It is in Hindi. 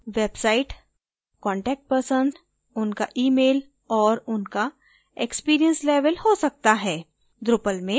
group website contact person उनका email और उनका experience level हो सकता है